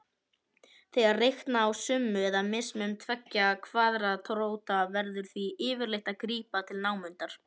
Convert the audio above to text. Þegar reikna á summu eða mismun tveggja kvaðratróta verður því yfirleitt að grípa til námundunar.